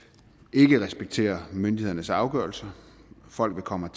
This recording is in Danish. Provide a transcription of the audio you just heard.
ikke respekterer myndighedernes afgørelser folk vil komme